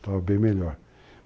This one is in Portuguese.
Estava bem melhor.